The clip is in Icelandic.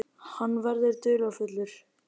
Hann verður dularfullur.